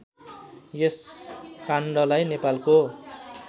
यस काण्डलाई नेपालको